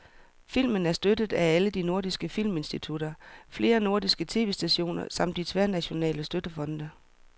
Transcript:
Filmen er støttet af alle de nordiske filminstitutter, flere nordiske tv-stationer samt de tværnationale støttefonde.